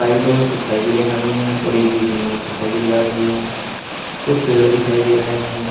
साइडों में कुछ साइकिलें खड़ी है और एक बीच में मोटरसाइकिल जा रही है कुछ पेड़ दिखाई दे रहे हैं।